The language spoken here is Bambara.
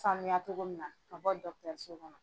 Sanuya cogo min na ka bɔ kɔnɔ.